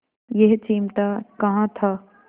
यह चिमटा कहाँ था